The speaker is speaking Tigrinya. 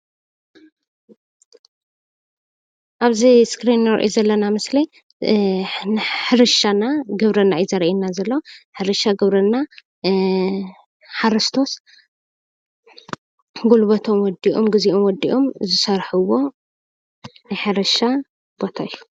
ኣብዚ እስክሪን ንሪኦ ዘለና ምስሊ ሕርሻና ግብርና እዩ ዘርእየና ዘሎ ሕርሻ ግብርና ሓረስቶት ጉልበቶም ወዲኦም ግዚኦም ወዲኦም ዝሰርሕዎ ናይ ሕርሻ ቦታ እዩ፡፡